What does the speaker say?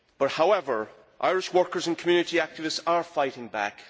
However, Irish workers and community activists are fighting back.